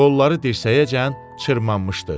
Qolları dirsəyəcən cırmanmışdı.